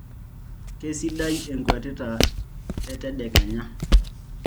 keisidai enkuatata etedekenya